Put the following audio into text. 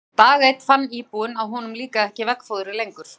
Dag einn fann íbúinn að honum líkaði ekki veggfóðrið lengur.